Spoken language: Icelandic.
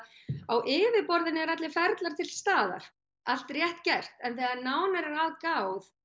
á yfirborðinu eru allir ferlar til staðar allt rétt gert en þegar nánar er að gáð